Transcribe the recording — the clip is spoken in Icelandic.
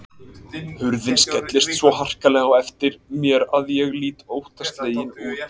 Hurðin skellist svo harkalega á eftir mér að ég lít óttaslegin út.